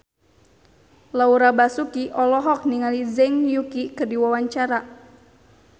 Laura Basuki olohok ningali Zhang Yuqi keur diwawancara